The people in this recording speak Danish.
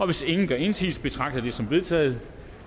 hvis ingen gør indsigelse betragter jeg det som vedtaget